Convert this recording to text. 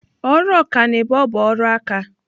Ọrụ ọkanibo bụ ọrụ aka.